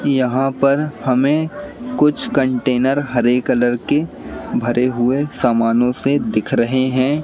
यहां पर हमें कुछ कंटेनर हरे कलर के भरे हुए सामानों से दिख रहे हैं।